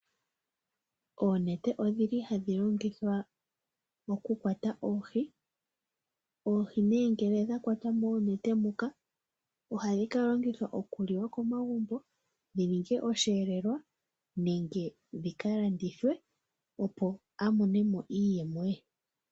Oonete odhili hadhi longithwa moku kwata oohi. Oohi nee ngele dha kwatwa moonete muka ohadhi ka longithwa oku liwa komagumbo dhi ninge osheelelwa nenge dhika landithwe ye a monemo iiyemo ye.